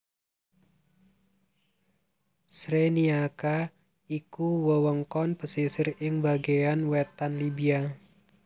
Cyrenaica iku wewengkon pesisir ing bagéyan wétan Libya